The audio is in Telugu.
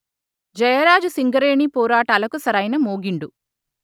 జయరాజు సింగరేణిపోరాటాలకు సరైన మోగిండు